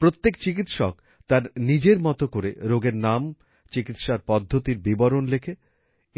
প্রত্যেক চিকিৎসক তার নিজের মত করে রোগের নাম চিকিৎসার পদ্ধতির বিবরণ লেখে